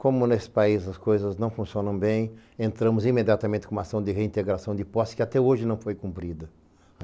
Como nesse país as coisas não funcionam bem, entramos imediatamente com uma ação de reintegração de posse que até hoje não foi cumprida.